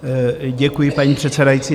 Děkuji, paní předsedající.